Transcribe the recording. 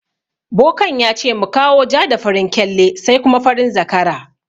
Bokan yace mu kawo ja da farin kyalle sai kuma farin zakara.